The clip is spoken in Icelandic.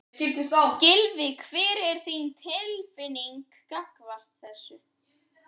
Gylfi, hver er þín tilfinning gagnvart þessu?